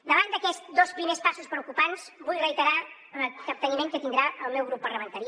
davant d’aquests dos primers passos preocupants vull reiterar el capteniment que tindrà el meu grup parlamentari